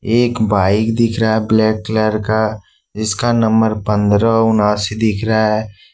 एक बाइक दिख रहा है ब्लैक कलर का इसका नंबर पंद्रह उनासी दिख रहा है।